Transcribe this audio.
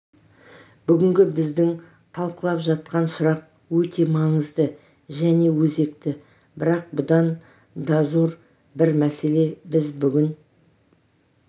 бүгінгі біздің талқылап жатқан сұрақ өте маңызды және өзекті бірақ бұдан дазор бір мәселеге біз бүгін